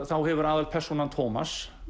þá hefur aðalpersónan Tómas